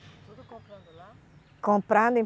Tudo comprando lá? Comprando